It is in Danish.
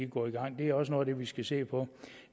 går i gang det er også noget af det vi skal se på